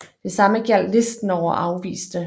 Det samme gjaldt listen over afviste